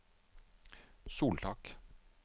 soltak